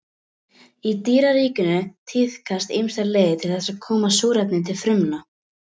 Í dýraríkinu tíðkast ýmsar leiðir til þess að koma súrefni til frumna.